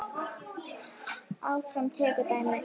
Hafþór tekur dæmi.